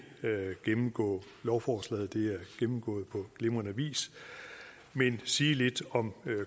gennemgå lovforslaget det er gennemgået på glimrende vis men sige lidt om